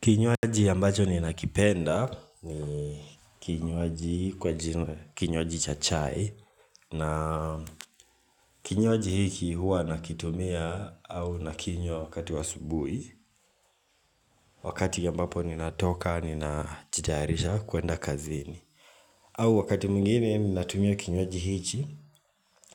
Kinywaji ambacho ninakipenda ni kinywaji kwa jina kinywaji cha chai na kinywaji hiki hua nakitumia au nakinywa wakati wa asubui Wakati ambapo ninatoka ninajitayarisha kuenda kazini au wakati mwingine ninatumia kinywaji